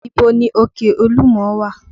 Ibo ni òkè olúmọ wà?